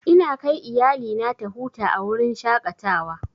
Ina kai iyalina ta huta a wurin shaƙatawa.